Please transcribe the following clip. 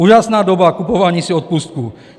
Úžasná doba kupování si odpustků.